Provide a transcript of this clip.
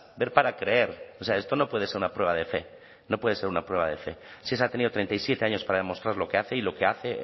ver para creer o sea esto no puede ser una prueba de fe no puede ser una prueba de fe shesa ha tenido treinta y siete años para demostrar lo que hace y lo que hace